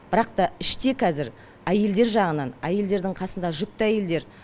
бірақ та іште кәзір әйелдер жағынан әйелдердің қасында жүкті әйелдер